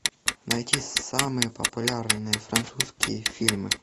найти самые популярные французские фильмы